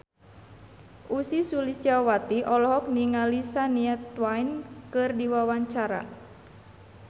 Ussy Sulistyawati olohok ningali Shania Twain keur diwawancara